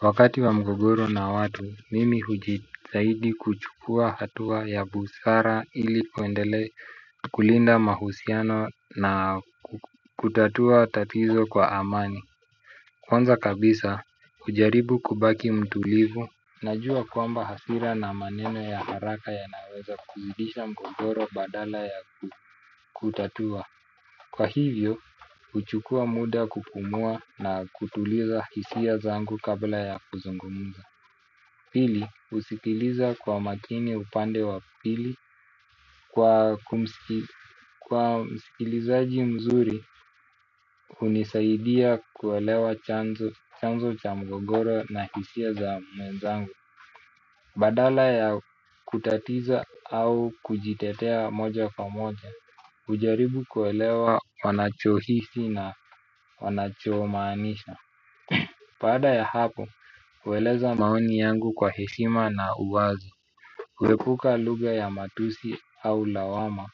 Wakati wa mgogoro na watu, mimi kujitahidi kuchukua hatua ya busara ili kuendele kulinda mahusiano na kutatua tatizo kwa amani. Kwanza kabisa, hujaribu kubaki mtulivu. Najua kwamba hasira na maneno ya haraka ya naweza kuzidisha mgogoro badala ya kutatua. Kwa hivyo, huchukua muda kupumua na kutuliza hisia zangu kabla ya kuzungumza. Pili usikiliza kwa makini upande wa pili kwa kumsikili kwa msikilizaji mzuri hunisaidia kuelewa chanzo cha mgogoro na hisia za mwenzangu. Badala ya kutatiza au kujitetea moja na moja hujaribu kuelewa wanacho hisi na wanacho maanisha baada ya hapo hueleza maoni yangu kwa heshima na uwazi huepuka lugha ya matusi au lawama.